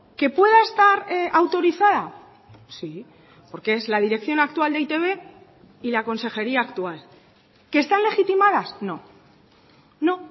que pueda estar autorizada sí porque es la dirección actual de e i te be y la consejería actual que están legitimadas no no